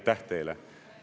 Aitäh teile!